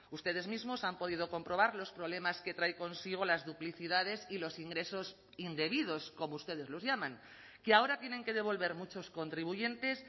ustedes mismos han podido comprobar los problemas que trae consigo las duplicidades y los ingresos indebidos como ustedes los llaman que ahora tienen que devolver muchos contribuyentes